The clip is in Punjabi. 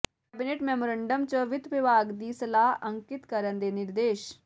ਕੈਬਨਿਟ ਮੈਮੋਰੰਡਮ ਚ ਵਿੱਤ ਵਿਭਾਗ ਦੀ ਸਲਾਹ ਅੰਕਿਤ ਕਰਨ ਦੇ ਨਿਰਦੇਸ਼